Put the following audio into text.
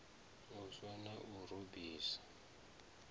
u swa na u rubisa